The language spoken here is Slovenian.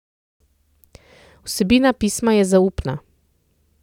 Vsebina pisma je zaupna.